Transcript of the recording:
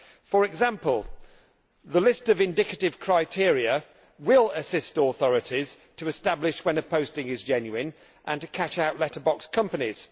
For example, the list of indicative criteria will assist authorities to establish when a posting is genuine and to catch out letter box companies.